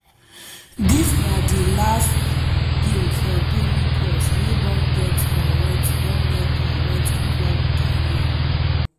dis na di last game for toni kroos wey don get correct don get correct club career.